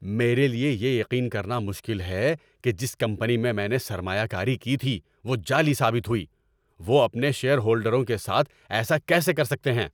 میرے لیے یہ یقین کرنا مشکل ہے کہ جس کمپنی میں میں نے سرمایہ کاری کی تھی وہ جعلی ثابت ہوئی۔ وہ اپنے شیئر ہولڈروں کے ساتھ ایسا کیسے کر سکتے ہیں؟